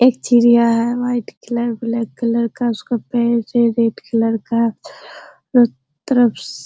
एक चिड़िया है व्हाइट कलर ब्लैक कलर का उसका पैर है रेड कलर का चारो तरफ से --